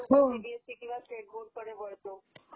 हो सीबीएसी किंवा स्टेट बोर्डकडे वळतो